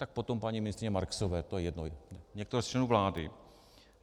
Tak potom paní ministryně Marksové, to je jedno, někoho ze členů vlády.